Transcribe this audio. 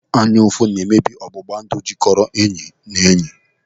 Anya ụfụ na-emebi ọgbụgba ndụ jikoro enyi na enyi.